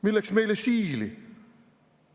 Milleks meile Siili?